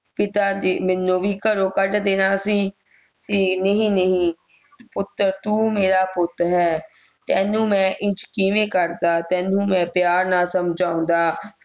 ਪਿਤਾਜੀ ਮੈਨੂੰ ਵੀ ਘਰੋਂ ਕੱਢ ਦੇਣਾ ਸੀ ਕਿ ਨਹੀਂ ਨਹੀਂ ਪੁੱਤ ਤੂੰ ਮੇਰਾ ਪੁੱਤ ਹੈਂ ਤੈਨੂੰ ਮੈਂ ਇੰਝ ਕਿਵੇਂ ਕਢਦਾ ਤੈਨੂੰ ਮੈਂ ਪਿਆਰ ਨਾਲ ਸਮਝਾਉਂਦਾ